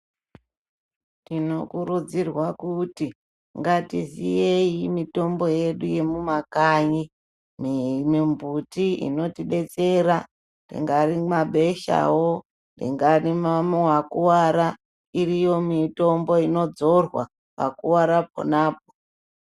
Tinokurudzirwa kuti ngatiziyei mitombo yedu yemumakanyi mimbuti inotidetsera ingari mabeshawo ingari wakuwara iriyo mitombo inodzorwa pakuwara ponapo.